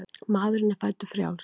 Maðurinn er fæddur frjáls.